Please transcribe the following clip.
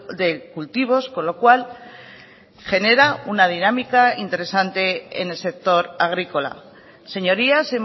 de cultivos con lo cual genera una dinámica interesante en el sector agrícola señorías